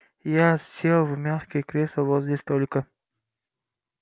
я сел в мягкое кресло возле столика